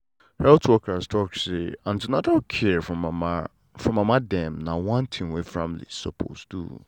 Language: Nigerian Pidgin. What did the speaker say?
health workers talk say an ten atal care for mama for mama dem na one thing wey families suppose do.